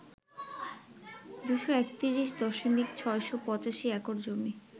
২৩১.৬৮৫ acre জমি